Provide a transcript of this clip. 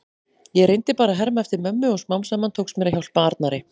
Ég reyndi bara að herma eftir mömmu og smám saman tókst mér að hjálpa Arnari.